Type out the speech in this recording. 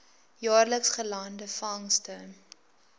jaarliks gelande vangste